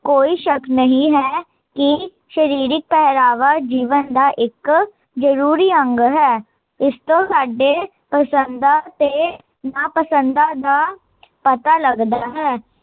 ਕੋਈ ਸ਼ੱਕ ਨਹੀਂ ਹੈ, ਕੀ ਸ਼ਰੀਰਕ ਪਹਿਰਾਵਾ ਜੀਵਨ ਦਾ ਇੱਕ, ਜਰੂਰੀ ਅੰਗ ਹੈ ਇਸਤੋਂ ਸਾਡੇ, ਪਸੰਦਾਂ ਤੇ ਨਾਪਸੰਦਾਂ ਦਾ, ਪਤਾ ਲੱਗਦਾ ਹੈ